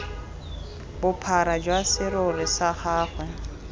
bophara jwa serori sa gagwe